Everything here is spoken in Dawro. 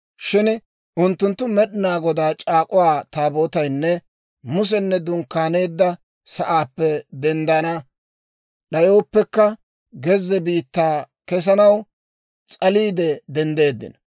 Shin unttunttu Med'inaa Godaa C'aak'uwaa Taabootaynne Musenne dunkkaaneedda sa'aappe denddana d'ayooppekka, gezze biittaa kesanaw s'aliide denddeeddino.